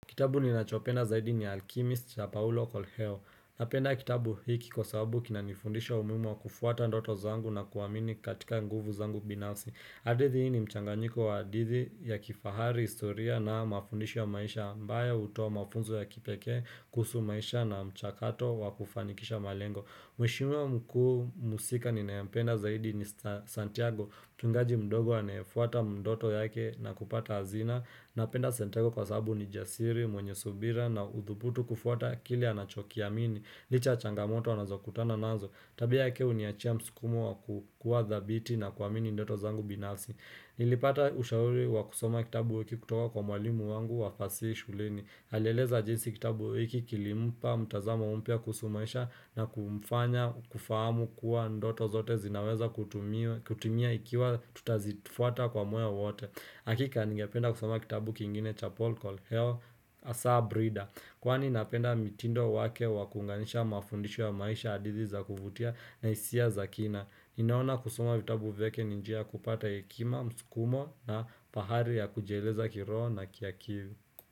Kitabu ni nachopenda zaidi ni Alchemist ya Paulo Coelho. Napenda kitabu hiki kwa sababu kinanifundisha umuhimu wa kufuata ndoto zangu na kuamini katika nguvu zangu binafsi. Hadithi hii ni mchanganyiko wa hadithi ya kifahari, historia na mafundisho ya maisha ambayo hutoa mafunzo ya kipeke, kuhusu maisha na mchakato wa kufanikisha malengo Mheshimiwa mkuu mhusika ninayependa zaidi ni Santiago. Mtungaji mdogo anefuata ndoto yake na kupata hazina. Napenda Santiago kwa sababu ni jasiri, mwenye subira na udhubutu kufuata kile anachokiamini licha ya changamoto anazokutana nazo. Tabia yake huniachia mskumo wa kukua thabiti na kuamini ndoto zangu binafsi. Nilipata ushauri wa kusoma kitabu wiki kutoka kwa mwalimu wangu wa fasihu shuleni. Alieleza jinsi kitabu hiki kilimpa mtazamo mpya kusumesha na kumfanya, kufahamu kuwa ndoto zote zinaweza kutumia ikiwa tutazitufuata kwa moyo wote. Hakika ningependa kusoma kitabu kingine cha Polkol Hel Asa Brida. Kwani napenda mtindo wake wakunganisha mafundisho ya maisha hadithi za kuvutia na hisia za kina. Ninaona kusoma vitabu vyake ni njia ya kupata hekima, mskumo na pahali ya kujeleza kiroho na kia kivu.